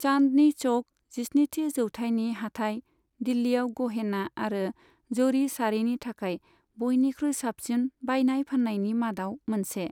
चान्दनि चौक, जिस्निथि जौथायनि हाथाइ, दिल्लीयाव गहेना आरो जरी साड़िनि थाखाय बयनिख्रुइ साबसिन बायनाय फाननायनि मादाव मोनसे।